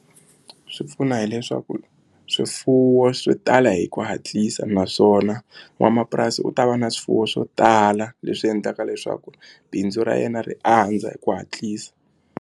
Swi pfuna hileswaku swifuwo swi tala hi ku hatlisa naswona n'wamapurasi u ta va na swifuwo swo tala leswi endlaka leswaku bindzu ra yena ri andza hi ku hatlisa.